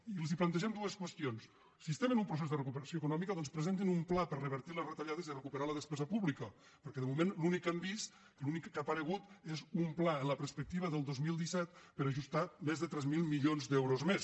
i els plantegem dues qüestions si estem en un procés de recuperació econòmica doncs presentin un pla per revertir les retallades i recuperar la despesa pública perquè de moment l’únic que hem vist l’únic que ha aparegut és un pla en la perspectiva del dos mil disset per ajus·tar més de tres mil milions d’euros més